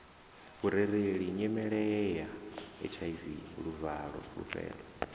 vhurereleli nyimeleya hiv luvalo fulufhelo